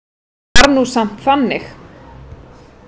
Það var nú samt þannig.